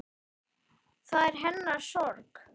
Það er hennar sorg.